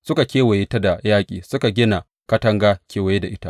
Suka kewaye ta da yaƙi, suka gina katanga kewaye da ita.